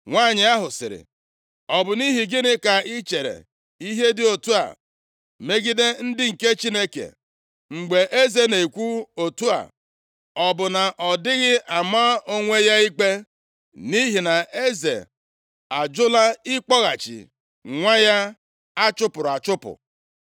Nwanyị ahụ sịrị, “Ọ bụ nʼihi gịnị ka ị chere ihe dị otu a megide ndị nke Chineke? Mgbe eze na-ekwu otu a, ọ bụ na ọ dịghị ama onwe ya ikpe, nʼihi na eze a jụla ịkpọghachi nwa ya a chụpụrụ achụpụ?